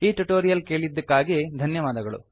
ಈ ಟ್ಯುಟೋರಿಯಲ್ ಕೇಳಿದ್ದಕ್ಕಾಗಿ ಧನ್ಯವಾದಗಳು